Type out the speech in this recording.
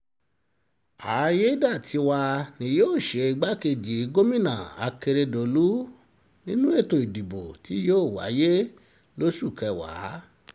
àyédètiwa ni yóò ṣe igbákejì gómìnà akérèdọ́lù nínú ètò ìdìbò tí yóò wáyé lóṣù kẹwàá